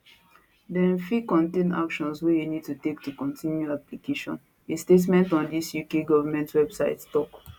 dem fit contain actions wey you need to take to kontinu your application a statement on di uk goment website tok